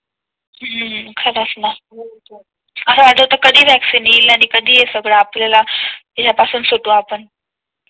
हम्म खरंच ना, असं वाटतं होत कधी आता वैक्सीन येईल आणि कधी हे सगळं आपल्या ला याच्या पासून सुटू आपण.